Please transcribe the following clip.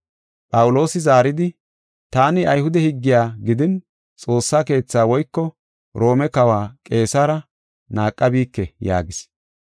Phawuloosi zaaridi, “Taani Ayhude higgiya gidin Xoossa Keethaa woyko Roome Kawa Qeesare naaqabike” yaagis.